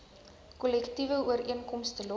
kollektiewe ooreenkomste los